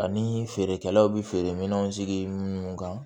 Ani feerekɛlaw bi feere minɛnw sigi minnu kan